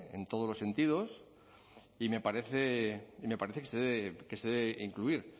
en todos los sentidos y me parece que se debe incluir